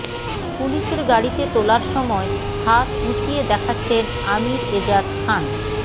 পুলিশের গাড়িতে তোলার সময় হাত উঁচিয়ে দেখাচ্ছেন আমীর এজাজ খান